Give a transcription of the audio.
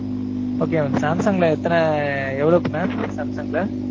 Okay mam samsung ல எத்தனை எவ்வலோவுக்கு mam samsung ல